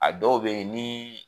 A dɔw be yen ni